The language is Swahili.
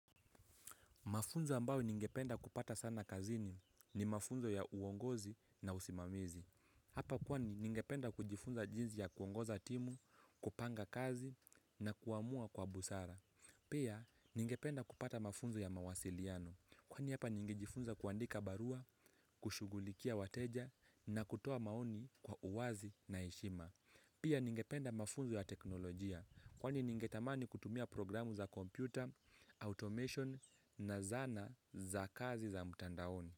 Mafunzo ambayo ningependa kupata sana kazini ni mafunzo ya uongozi na usimamizi. Hapa kwani ningependa kujifunza jinzi ya kuongoza timu, kupanga kazi na kuamua kwa busara. Pia ningependa kupata mafunzo ya mawasiliano. Kwani hapa ningejifunza kuandika barua, kushugulikia wateja na kutoa maoni kwa uwazi na heshima. Pia ningependa mafunzo ya teknolojia. Kwani ningetamani kutumia programu za kompyuta, automation na zana za kazi za mtandaoni.